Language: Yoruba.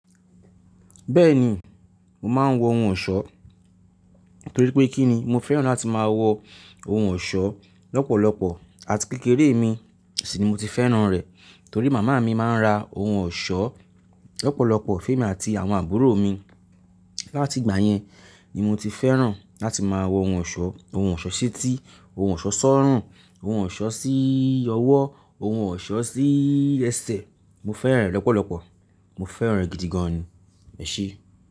Bẹ́ẹ̀ni, mo máa ń wọ ohun ọ̀ṣọ́ torí pé kí ni mo fẹ́ràn láti máa wọ ohun ọ̀ṣọ́ lọ́pọ̀lọpọ̀ àti kékeré mi sì ni mo ti fẹ́ràn rẹ̀ torí màmá mi máa ń ra ohun ọ̀ṣọ́ lọ́pọ̀lọpọ̀ fún èmi àti àwọn àbúrò mi. Láti ìgbà yẹn ni mo ti fẹ́ràn láti máa wọ ohun ọ̀ṣọ́, ohun ọ̀ṣọ́ sí etí, ohun ọ̀ṣọ́ sọ́rùn, ohun ọ̀ṣọ́ síì ọwó, ohun ọ̀ṣọ́ sí ẹsẹ̀. Mo fẹ́ràn rẹ̀ lọ́pọ̀lọpọ̀, mo fẹ́ràn rẹ̀ gidi gan ni, ẹ̀ṣé.